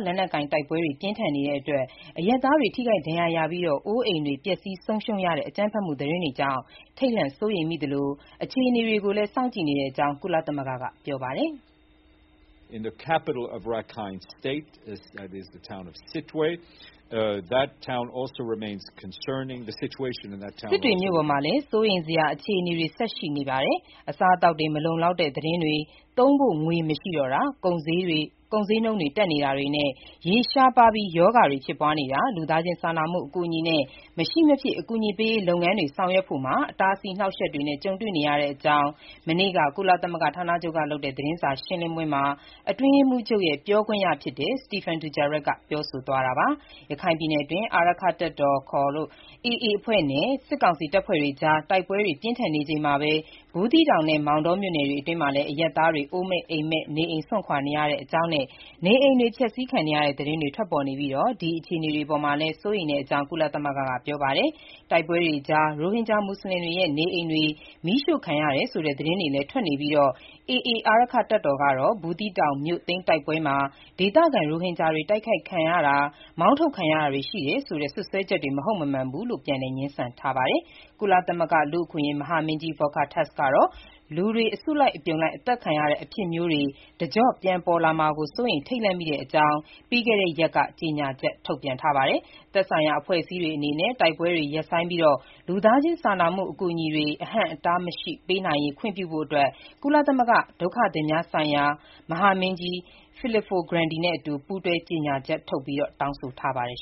လက်နက်ကိုင် တိုက်ပွဲတွေ ပြင်းထန်နေချိန်အရပ်သားတွေ ထိခိုက်ဒဏ်ရာရပြီး အိုးအိမ်တွေ ပျက်ဆီးဆုံးရှုံးရတဲ့ အကြမ်းဖက်မှုသတင်းတွေနဲ့ ပတ်သက်လို့ ထိတ်လန့်စိုးရိမ်မိသလို အခြေအနေကို စောင့်ကြည့်နေတဲ့အကြောင်း ကုလသမဂ္ဂက ပြောဆိုပါတယ်။ "စစ်တွေမြို့ပေါ်မှာလည်း စိုးရိမ်စရာအခြေအနေ ဆက်ပြီး ရှိနေပါတယ်။ အစားအသောက်တွေ မလုံလောက်တဲ့ သတင်းတွေ၊ သုံးဖို့ ငွေ မရှိတော့တောတာ၊ ကုန်ဈေးတွေ တက်နေတာတွေနဲ့၊ ရေရှားပါးပြီး ရောဂါတွေ ဖြစ်ပွားနေတာ၊ ပြည်နယ်တဝန်း လူသားချင်းစာနာမှု အကူအညီနဲ့ မရှိမဖြစ် အကူအညီပေးရေးလုပ်ငန်းတွေ ဆောင်ရွက်ဖို့မှာ အဟန့်အတား အနှောက်အယှက်တွေ ကြုံနေရပါတယ်" လို့ မနေ့က ကုလသမဂ္ဂဌာနချုပ် သတင်းစာရှင်းလင်းပွဲမှာ အတွင်းရေးမှူးချုပ်ရဲ့ ပြောခွင့်ရ Stéphane Dujarric ပြောဆိုသွားတာပါ။ ရခိုင်ပြည်နယ်အတွင်း အာရက္ခတပ်တော် ခေါ် AA အဖွဲ့နဲ့ စစ်ကောင်စီတပ်တွေအကြား တိုက်ပွဲတွေ ပြင်းထန်နေချိန်မှာပဲ ဘူးသီးတောင်နဲ့ မောင်တော်မြို့နယ်တွေအတွင်း အရပ်သားတွေ အိုးမဲ့အိမ်မဲ့ နေအိမ်စွန့်ခွာနေတဲ့အကြောင်းနဲ့ နေအိမ်တွေ ဖျက်ဆီးခံရတဲ့ သတင်းတွေ ထွက်ပေါ်နေပြီး ဒီအခြေအနေတွေ အပေါ်မှာလည်း စိုးရိမ်တဲ့အကြောင်း ကုလသမဂ္ဂက ပြောဆိုပါတယ်။ တိုက်ပွဲတွေကြား ရိုဟင်ဂျာ မူဆလင်တွေရဲ့ နေအိမ်တွေ မီးရှို့ခံရတယ်ဆိုတဲ့ သတင်းတွေလည်း ထွက်နေပြီး AA အာရက္ခတပ်တော် ကတော့ ဘူးသီးတောင်မြို့သိမ်း တိုက်ပွဲမှာ ဒေသခံ ရိုဟင်ဂျာတွေ တိုက်ခိုက်ခံရတာ မောင်းထုတ်ခံရတာတွေ ရှိခဲ့တယ်ဆိုတဲ့ စွပ်စွဲချက်တွေ မဟုတ်မမှန်ဘူးလို့ ပြန်လည် ငြင်းဆန်ထားပါတယ်။ ကုလသမဂ္ဂလူ့အခွင့်အရေး မဟာမင်းကြီး Volker Türk ကတော့ လူတွေ အစုလိုက် အသတ်ခံရတဲ့ အဖြစ်မျိုးတွေ တကျော့ပြန် ပြန်ပေါ်လာမှာ စိုးရိမ် ထိတ်လန့်မိတဲ့အကြောင်း ပြီးခဲ့တဲ့ရက်က ကြေညာချက် ထုတ်ပြန်ပါတယ်။ သက်ဆိုင်ရာ အဖွဲ့အစည်းတွေအနေနဲ့ တိုက်ပွဲတွေ ရပ်ဆိုင်းပြီး လူသားချင်းစာနာမှု အကူအညီတွေ အဟန့်အတားမရှိ ပေးနိုင်ရေး ခွင့်ပြုဖို့ ဒုက္ခသည်များဆိုင်ရာ ကုလသမဂ္ဂ မဟာမင်းကြီး Filippo Grandi နဲ့အတူ ပူးတွဲ ကြေညာချက်ထုတ် တောင်းဆိုထားပါတယ်။